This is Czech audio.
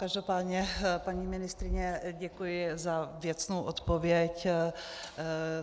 Každopádně, paní ministryně, děkuji za věcnou odpověď.